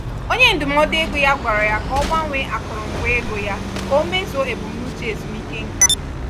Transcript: onye ndụmọdụ ego ya gwara ya ka o gbanwee akụrụngwa ego ya ka o meezuo ebumnuche ezumike nká.